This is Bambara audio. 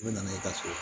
U bɛ na n'i ka so ye